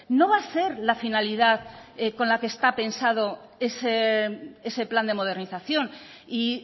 no va a ser la finalidad con la que está pensado ese plan de modernización y